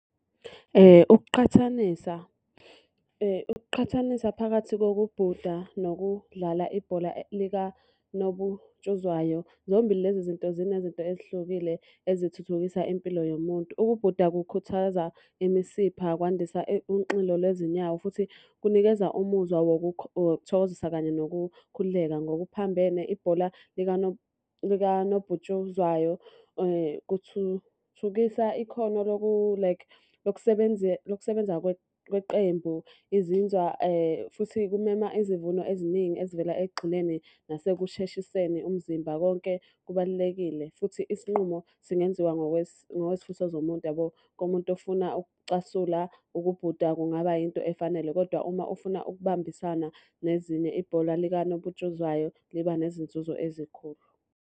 Ukuqhathanisa, ukuqhathanisa phakathi kokubhuda nokudlala ibhola likanobutshuzwayo. Zombili lezi zinto zinezinto ezihlukile ezithuthukisa impilo yomuntu. Ukubhuda kukhuthaza imisipha, kwandisa unxilo lezinyawo futhi kunikeza umuzwa wokuthokozisa kanye nokukhululeka. Ngokuphambene ibhola likanobhutshuzwayo kuthuthukisa ikhono like lokusebenza kweqembu. Izinzwa futhi kumema izivuno eziningi ezivela ekugxileni nasekusheshiseni umzimba. Konke kubalulekile futhi isinqumo singenziwa ngokwezifiso zomuntu yabo. Komuntu ofuna ukucasula, ukubhuda kungaba yinto efanele, kodwa uma ufuna ukubambisana nezinye, ibhola likanobutshuzwayo liba nezinzuzo ezikhulu.